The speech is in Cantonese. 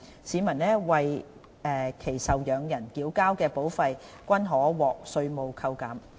市民及為其受養人繳交的保費均可獲稅務扣減。